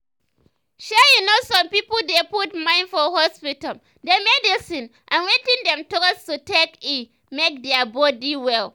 shey you know some pipo dey put mind for hospital dem medicine and wetin dem trust to take eh make their body well.